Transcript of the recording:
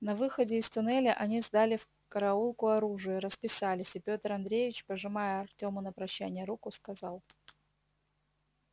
на выходе из туннеля они сдали в караулку оружие расписались и пётр андреевич пожимая артёму на прощание руку сказал